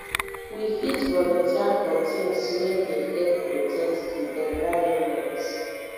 we fit volunteer for things wey dey help protect di di environment